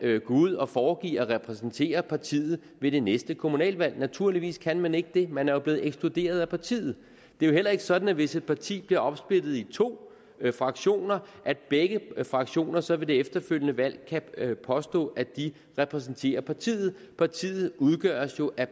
ud og foregiver at repræsentere partiet ved det næste kommunalvalg naturligvis kan man ikke det man er jo blevet ekskluderet at partiet det er jo heller ikke sådan hvis et parti bliver opsplittet i to fraktioner at begge fraktioner så ved det efterfølgende valg kan påstå at de repræsenterer partiet partiet udgøres jo af